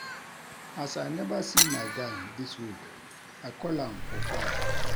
As I neva see my guy dis week, I call am for fone.